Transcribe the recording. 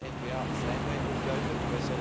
Als N VA zijn wij ook duidelijk.